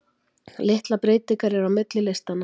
Litlar breytingar eru á milli listanna.